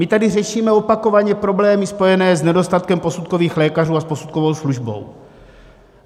My tady řešíme opakovaně problémy spojené s nedostatkem posudkových lékařů a s posudkovou službou.